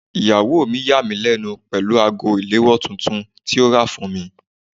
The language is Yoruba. Ìyàwó mi yà mí lẹ́nu pẹ̀lú ago ìléwọ́ tuntun tí ó rà fún mi.